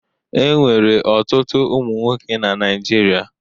E nwere ọtụtụ ụmụ nwoke na Naịjirịa.